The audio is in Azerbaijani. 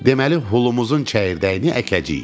Deməli, hulumuzun çəyirdəyini əkəcəyik.